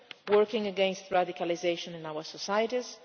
working against radicalisation in our societies